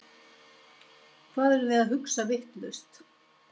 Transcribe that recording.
Hvað erum við að hugsa vitlaust?